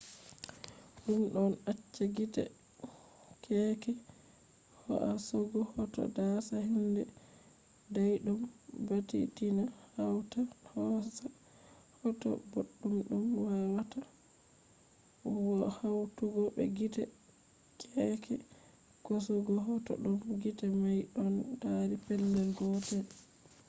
ɗum ɗon acca gite keeke hoasugo hoto dasa hunde dayɗum baditina hawta hoosa hoto boɗɗum ɗum wawata hawtugo be gite keeke hosugo hoto ɗum gite may ɗon dari pellel gotel